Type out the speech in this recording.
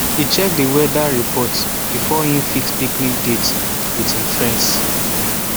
e check d weather report before e fix picnic date with him friends